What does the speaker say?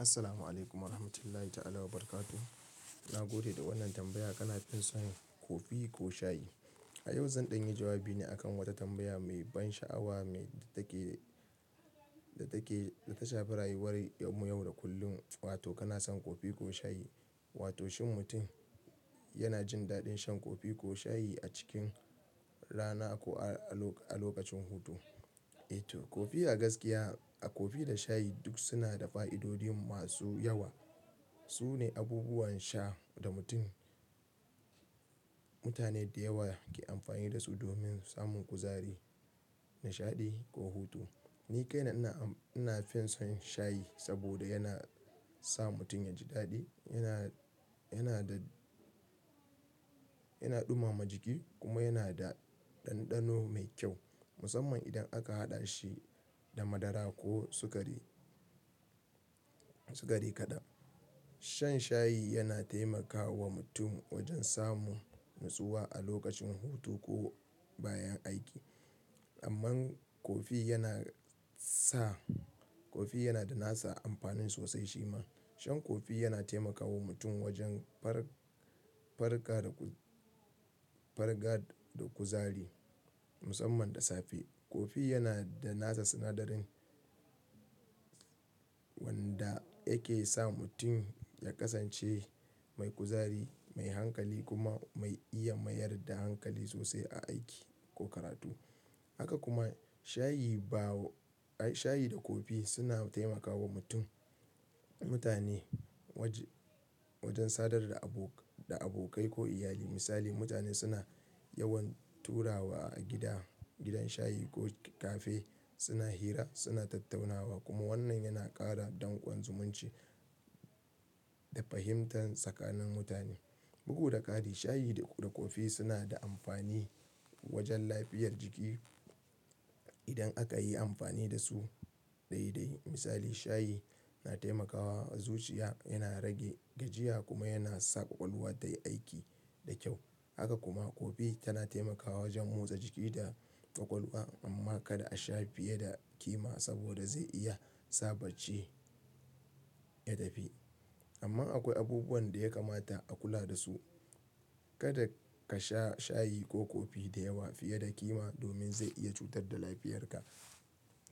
Assalamualaikum warahmatullahi ta'ala wabarakatuh. Na gode da wannan tambaya. Kana fin son kofi ko shayi? A yau zan ɗanyi jawabi ne akan wata tambaya mai ban sha'awa mai take, da take, da ta shafi rayuwar yau da kullum. Wato kana son kofi ko shayi? Wato shin mutum yana jin daɗin shan kofi ko shayi a cikin rana ko a lokacin hutu? E to kofi a gaskiya, a kofi da shayi duk suna da fa'idodi masu yawa. Su ne abubuwan sha da mutum, mutane da yawa ke amfani da su domin samun kuzari, nishaɗi ko hutu. Ni kai na ina ina fin son shayi saboda yana sa mutum yaji daɗi, yana yana da yana ɗumama jiki kuma yana da ɗanɗano mai kyau musamman idan aka haɗa shi da madara ko sukari, sukari kaɗan. Shan shayi yana taimakawa mutum wajen samun natsuwa a lokacin hutu ko bayan aiki. Amma kofi yana sa, kofi yana da nasa amfanin sosai shi ma. Shan kofi yana taimakawa mutum wajen far, farga da ku, farga da kuzari musamman da safe. Kofi yana da nasa sinadarin wanda yake sa mutum ya ƙasance mai kuzari, mai hankali kuma mai iya mayar da hankali sosai a aiki ko karatu. Haka kuma shayi ba, shayi da kofi suna taimakawa mutum mutane wajen sadar da abo da abokai ko iyali. Misali mutane suna yawan taruwa a gida gidan shayi ko cafe, suna hira, suna tattaunawa kuma wannan yana ƙara danƙon zumunci da fahimta tsakanin mutane. Bugu da ƙari shayi da kofi suna da amfani wajen lafiyar jiki idan aka yi amfani da su daidai. Misali shayi na taimakawa zuciya, yana rage gajiya kuma yana sa ƙwaƙwalwa tayi aiki da kyau. Haka kuma kofi tana taimakawa wajen motsa jiki da ƙwaƙwalwa. Amma kada a sha fiye da ƙima saboda zai iya sa bacci ya tafi. Amma akwai abubuwan da ya kamata a kula da su. Kada ka sha shayi ko kofi da yawa fiye da ƙima domin zai iya cutar da lafiyarka